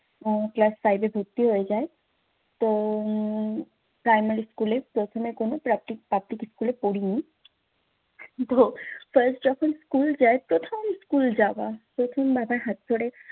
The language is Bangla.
class five এ ভর্তি হয়ে যাই। তো primary school এ প্রথমে কোনো school এ পড়িনি। তো first যখন school যাই, প্রথম school যাওয়া, প্রথম বাবার হাত ধরে